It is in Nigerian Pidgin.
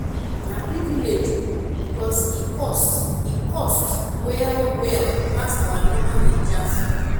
na privilege o because e cost e cost well well pass our normal naija food